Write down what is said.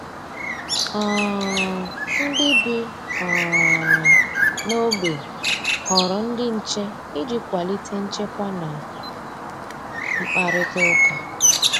um Ndị bi um n'ogbe họrọ ndị nche iji kwalite nchekwa na mkparitauka